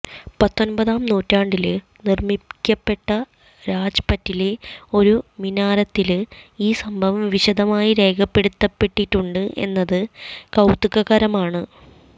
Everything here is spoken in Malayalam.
പത്തൊമ്പതാം നൂറ്റാണ്ടില് നിര്മിക്കപ്പെട്ട രാജ്പറ്റിലെ ഒരു മിനാരത്തില് ഈ സംഭവം വിശദമായി രേഖപ്പെടുത്തപ്പെട്ടിട്ടുണ്ട് എന്നത് കൌതുകകരമാണ്